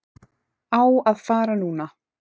Á að fara núna.